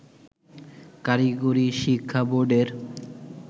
কারিগরি শিক্ষা বোর্ডের